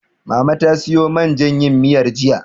Mama ta siyo man jan yin miyar, jiya.